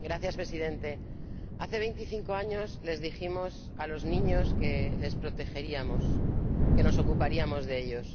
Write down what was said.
Señor Presidente, hace veinticinco años les dijimos a los niños que los protegeríamos, que nos ocuparíamos de ellos.